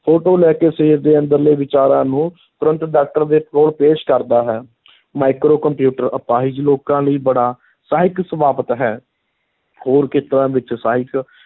Photo ਲੈ ਕੇ ਸਰੀਰ ਦੇ ਅੰਦਰਲੇ ਵਿਚਾਰਾਂ ਨੂੰ ਤੁਰੰਤ doctor ਦੇ ਕੋਲ ਪੇਸ਼ ਕਰਦਾ ਹੈ micro ਕੰਪਿਊਟਰ ਅਪਾਹਿਜ ਲੋਕਾਂ ਲਈ ਬੜਾ ਸਹਾਇਕ ਸਾਬਤ ਹੈ ਹੋਰ ਖੇਤਰਾਂ ਵਿੱਚ ਸਹਾਇਕ